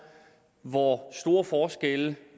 hvor stor en forskel